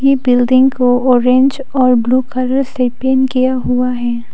ये बिल्डिंग को ऑरेंज और ब्लू कलर से पेंट किया हुआ है।